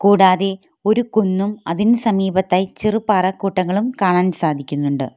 കൂടാതെ ഒരു കുന്നും അതിനു സമീപത്തായി ചെറു പാറക്കൂട്ടങ്ങളും കാണാൻ സാധിക്കുന്നുണ്ട്.